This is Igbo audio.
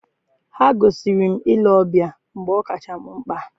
ha gosiri m ile ọbịa mgbe ọ kacha m mkpa.